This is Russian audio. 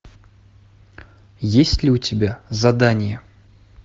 есть ли у тебя задание